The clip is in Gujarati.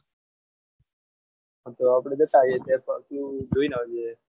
આપણે જતા આવીએ તાર પાપ ધોઈને આવીએ